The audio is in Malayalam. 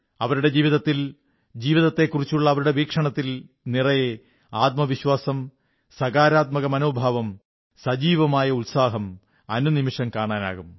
അവരുടെ ജീവിതത്തിൽ ജീവിതത്തെക്കുറിച്ചുള്ള അവരുടെ വീക്ഷണത്തിൽ നിറയെ ആത്മവിശ്വാസം സകാരാത്മമനോഭാവം സജീവമായ ഉത്സാഹം അനുനിമിഷം കാണാനാകും